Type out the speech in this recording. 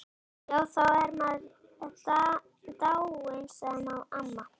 Já, þá er maður dáinn, sagði amma.